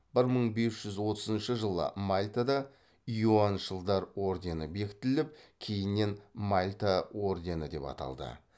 бір мың бес жүз отызыншы жылы мальтада иоаншылдар ордені бекітіліп кейіннен мальта ордені деп аталды